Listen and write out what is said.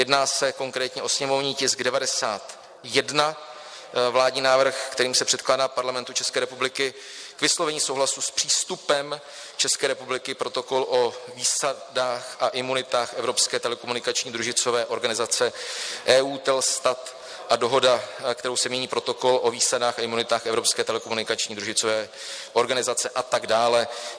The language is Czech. Jedná se konkrétně o sněmovní tisk 91, Vládní návrh, kterým se předkládá Parlamentu České republiky k vyslovení souhlasu s přístupem České republiky protokol o výsadách a imunitách Evropské telekomunikační družicové organizace EUTELSAT a dohoda, kterou se mění protokol o výsadách a imunitách Evropské telekomunikační družicové organizace, a tak dále.